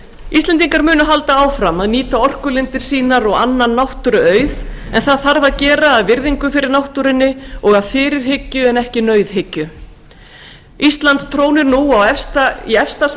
íslendingar munu halda áfram að nýta orkulindir sínar og annan náttúruauð en það þarf að gera af virðingu fyrir náttúrunni og fyrirhyggju en ekki nauðhyggju ísland trónir nú efst